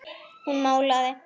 Hún málaði.